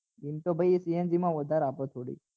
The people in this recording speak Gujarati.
એમ તો ભાઈ cng માં વધારે આપે થોડી